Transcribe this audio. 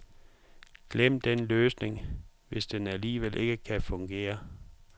Glem den løsning, hvis den alligevel ikke kan fungere.